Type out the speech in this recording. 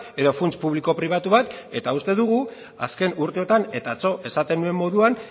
edo funts publiko pribatu bat eta uste dugu azken urteotan eta atzo esaten nuen moduan